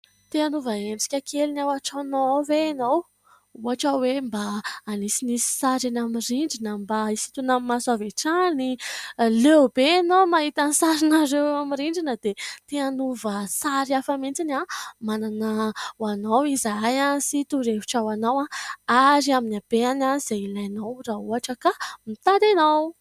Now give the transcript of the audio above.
Te hanova endrika kely ny ao an-tranonao ao ve enao ? Ohatra hoe mba hanisinisy sary eny amin'ny rindrina, mba hisintona amin'ny maso avy hatrany, leo be enao mahita ny sarinareo amin'ny rindrina dia te hanova sary hafa mihitsy! Manana ho anao izahay sy torohevitra ho anao ary amin'ny habeany izay ilainao raha ohatra ka mitady enao.